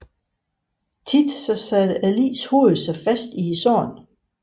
Ofte satte ligets hoved sig fast i sandet